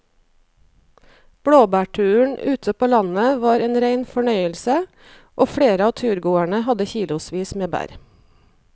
Blåbærturen ute på landet var en rein fornøyelse og flere av turgåerene hadde kilosvis med bær.